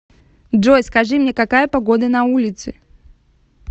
джой скажи мне какая погода на улице